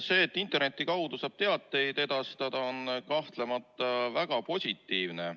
See, et interneti kaudu saab teateid edastada, on kahtlemata väga positiivne.